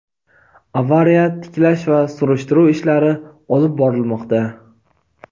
avariya tiklash va surishtiruv ishlari olib borilmoqda.